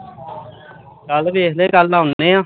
ਕੱਲ ਵੇਖਦੇ ਕੱਲ ਆਉਨੇ ਆ